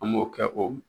An m'o kɛ o